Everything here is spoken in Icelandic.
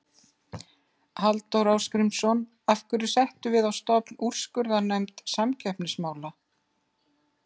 Halldór Ásgrímsson: Af hverju settum við á stofn úrskurðarnefnd samkeppnismála?